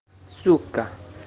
сука